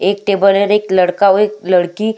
एक टेबल और एक लड़का और एक लड़की --